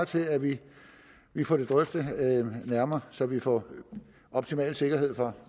til at vi får det drøftet nærmere så vi får optimal sikkerhed for